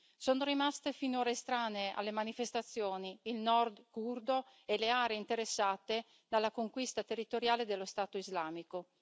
Sono rimasti finora estranei alle manifestazioni il Nord curdo e le aree interessate dalla conquista territoriale dello Stato islamico.